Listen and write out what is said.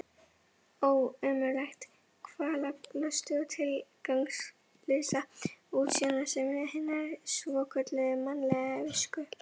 Ó, ömurlegi kvalalosti og tilgangslausa útsjónarsemi hinnar svokölluðu mannlegu visku.